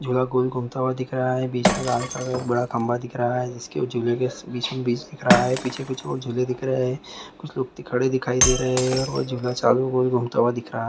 झूला गोल घूमता हुआ दिख रहा है बीच में लाल कलर बड़ा खम्बा दिख रहा है जिसके झूले के पीछे भी बस दिख रहा है पीछे कुछ और झूले दिख रहे है कुछ लोग खडे़ दिखाई दे रहे हैं और वो झूला सामने गोल घूमता हुए दिख रहा है।